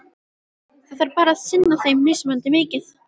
Það þarf bara að sinna þeim mismunandi mikið.